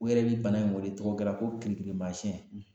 U yɛrɛ bi bana in weeletogo dɔ la ko kirikirimasiɲɛ.